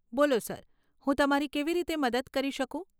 બોલો સર, હું તમારી કેવી રીતે મદદ કરી શકું?